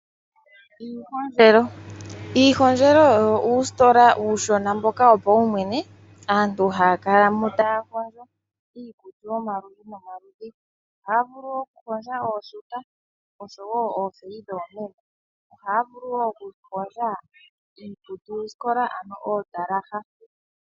Iihondjelo. Iihondjelo oyo uustola uushona mboka wo paumwene aantu haya kalamo taya hondjo iikutu yomaludhi nomaludhi. Ohaya vulu oku hondja ooshuta, osho wo oofeyi dhoomeme. Ohayi vulu wo okuhondja iikutu-skola, ano oondalaha.